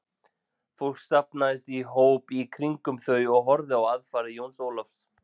Fólk safnaðist í hóp í kringum þau og horfði á aðfarir Jóns Ólafs.